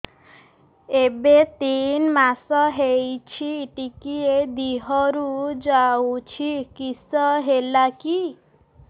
ଏବେ ତିନ୍ ମାସ ହେଇଛି ଟିକିଏ ଦିହରୁ ଯାଉଛି କିଶ ହେଲାକି